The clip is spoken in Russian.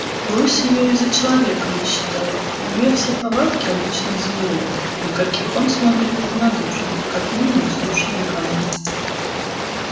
лось её и за человека не считает у неё все повадки обычных зверей на каких он смотрит равнодушно как мы на бездушные камни